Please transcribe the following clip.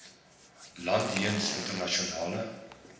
land jeens internasionale